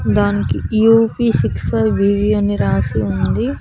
దానికి UP six అని రాసి ఉంది.